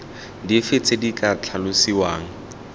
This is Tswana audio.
dife tse di ka tlhalosiwang